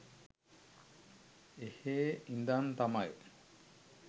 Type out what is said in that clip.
එහේ ඉඳන් තමයි